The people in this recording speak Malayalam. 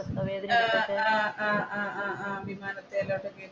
ആഹ് ആഹ് ആഹ് വിമാനത്തിലൊട്ടൊക്കെ